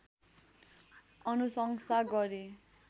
अनुशंसा गरे